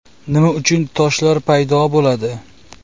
Nima uchun toshlar paydo bo‘ladi?